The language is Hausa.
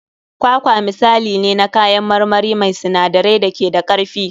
Kwakwa misali ne na kayan marmari mai sinadarai da ke da karfi.